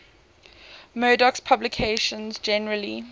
murdoch's publications generally